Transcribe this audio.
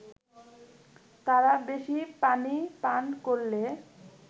তাঁরা বেশি পানি পান করলে